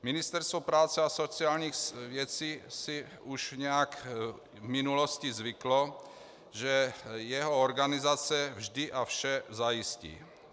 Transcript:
Ministerstvo práce a sociálních věcí si už nějak v minulosti zvyklo, že jeho organizace vždy a vše zajistí.